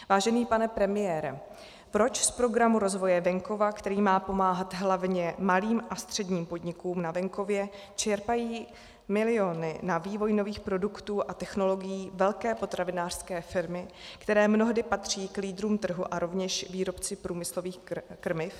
Vážený pane premiére, proč z Programu rozvoje venkova, který má pomáhat hlavně malým a středním podnikům na venkově, čerpají miliony na vývoj nových produktů a technologií velké potravinářské firmy, které mnohdy patří k lídrům trhu, a rovněž výrobci průmyslových krmiv?